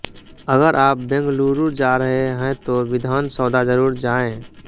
अगर आप बेंगलुरु जा रहे हैं तो विधान सौदा जरूर जाएं